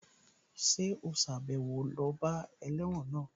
Ṣé ò sàbẹ̀wo lọ bá ẹlẹ́wọ̀n náà?